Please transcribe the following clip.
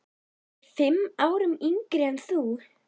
Hann er fimm árum yngri en hún.